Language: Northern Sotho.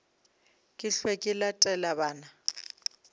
ke hwe ke latele bana